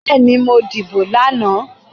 Bẹ́ẹ́ni, mo dìbò lánàá.